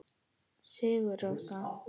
Sigur Rós.